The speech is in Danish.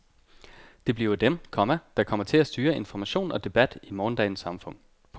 Det bliver dem, komma der kommer til at styre information og debat i morgendagens samfund. punktum